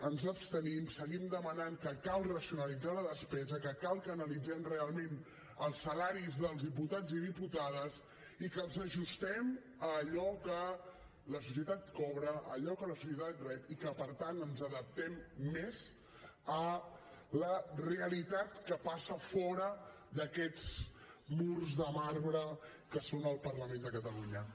ens abstenim seguim demanant que cal racionalitzar la despesa que cal que analitzem realment els salaris dels diputats i diputades i que els ajustem a allò que la societat cobra a allò que la societat rep i que per tant ens adaptem més a la realitat que passa fora d’aquests murs de marbre que són el parlament de catalunya